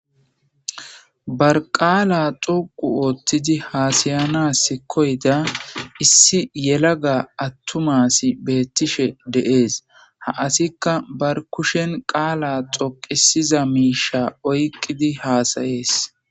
Barqaala xoqu ootthidi haasayanas koyda issi yelaga attumasi beettishe deees ha asikka bar kushen qaala xoqisiza miisha oyqqidi haasayees.